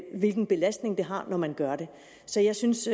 hvilken belastning det har når man gør det så jeg synes